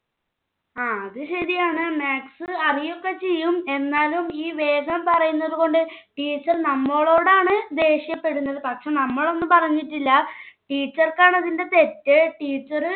ങ്ഹാ അത് ശരിയാണ്. maths അറിയൊക്കെ ചെയ്യും. എന്നാലും ഈ വേഗം പറയുന്നത് കൊണ്ട് teacher നമ്മളോടാണ് ദേഷ്യപ്പെടുന്നത്. പക്ഷെ നമ്മൾ ഒന്നും പറഞ്ഞിട്ടില്ല. teacher ക്കാണ് അതിന്റെ തെറ്റ്. teacher